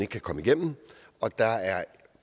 kan komme igennem og der er